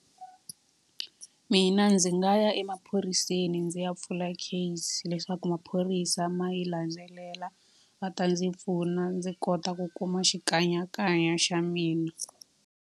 Mina ndzi nga ya emaphoriseni ndzi ya pfula case leswaku maphorisa ma yi landzelela. Va ta ndzi pfuna ndzi kota ku kuma xikanyakanya xa mina.